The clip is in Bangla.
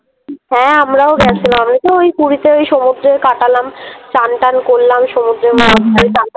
হ্যাঁ আমরাও গেছিলাম আমিতো ওই পুরীতে ওই সমুদ্রে কাটালাম । চান টান করলাম সমুদ্রে সমুদ্রে ওই চান টান